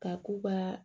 Ka k'u ka